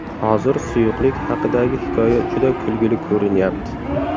Hozir suyuqlik haqidagi hikoya juda kulgili ko‘rinyapti.